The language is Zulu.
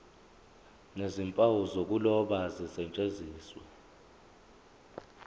nezimpawu zokuloba zisetshenziswe